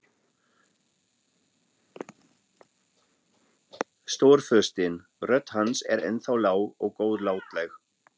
Stórfurstinn, rödd hans er ennþá lág og góðlátleg.